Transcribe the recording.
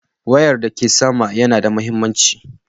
Wayar da ke sama yana da mahimmanci.